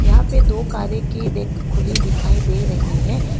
यहां पे दो कारे के डेक खुली दिखाई दे रही है।